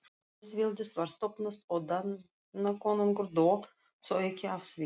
Lýðveldið var stofnað og Danakonungur dó, þó ekki af því.